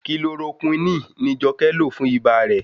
Kilorokúínì ni Jọkẹ́ lò fún ibà rẹ̀.